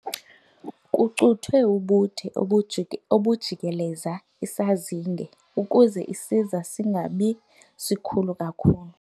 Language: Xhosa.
Kucuthwe ubude obujikeleze isazinge ukuze isiza singabi sikhulu kakhulu.